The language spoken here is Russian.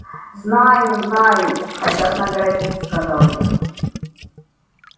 знаю знаю хотят наградить сказал я